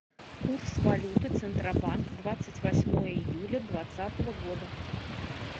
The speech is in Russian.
курс валюты центробанк двадцать восьмое июля двадцатого года